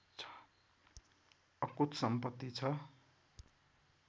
अकुत सम्पत्ति छ